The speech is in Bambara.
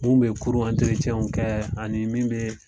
Mun bɛ kurun kɛ ani min bɛ